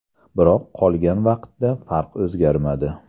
Biroq qolgan vaqtda farq o‘zgarmadi.